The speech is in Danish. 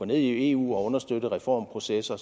ned i eu og understøtte reformprocesser